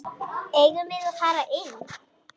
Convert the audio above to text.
Eigum við að fara inn?